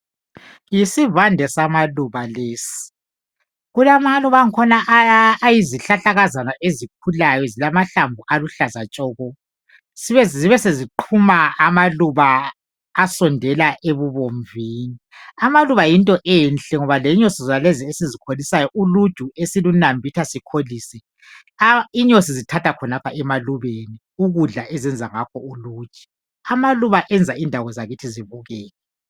Yisivande samaluba lesi kulamaluba angikhona ayizihlahlakaza ezikhulayo zilamahlamvu aluhlaza tshoko. Zibesiqhuma amaluba asondela ebubomvini amaluba yinto enhle ngoba lenyosi zonalezi esizikholisayo uluju esilunambitha, sikholisa inyosi zithatha khonapha emalubeni. Ukudla ezenza ngakho uluju, amaluba ayenza indawo zakithi zibukeke.